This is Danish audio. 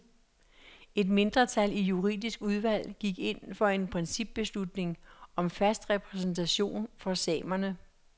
Et mindretal i juridisk udvalg gik ind for en principbeslutning om fast repræsentation for samerne.